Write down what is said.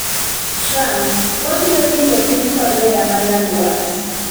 Trump: wabiro rito piny Korea ma nyandwat